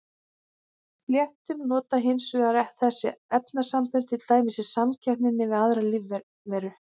Fléttur nota hins vegar þessi efnasambönd til dæmis í samkeppninni við aðrar lífveru.